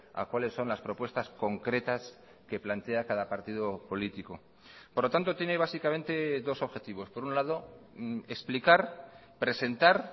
a cuales son las propuestas concretas que plantea cada partido político por lo tanto tiene básicamente dos objetivos por un lado explicar presentar